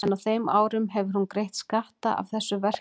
En á þeim árum hefur hún greitt skatta af þessu verki.